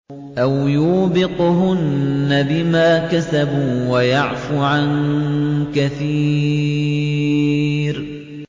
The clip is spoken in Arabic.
أَوْ يُوبِقْهُنَّ بِمَا كَسَبُوا وَيَعْفُ عَن كَثِيرٍ